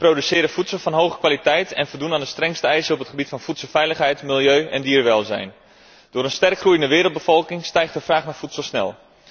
Wij produceren voedsel van hoge kwaliteit en voldoen aan de strengste eisen op het gebied van voedselveiligheid, milieu en dierenwelzijn. Door een sterk groeiende wereldbevolking stijgt de vraag naar voedsel snel.